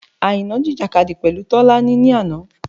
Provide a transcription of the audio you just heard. Àìná jìjìkadì pẹ̀lú Tọ́lá ni àná.